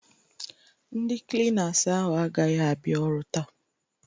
Ndị Klinas ahụ agaghị abịa ọrụ taa.